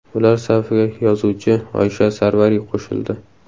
Ular safiga yozuvchi Oysha Sarvariy qo‘shildi.